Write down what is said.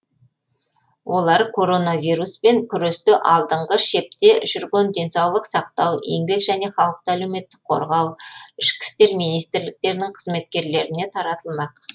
олар коронавируспен күресте алдыңғы шепте жүрген денсаулық сақтау еңбек және халықты әлеуметтік қорғау ішкі істер министрліктерінің қызметкерлеріне таратылмақ